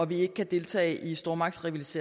vi ikke kan deltage i stormagternes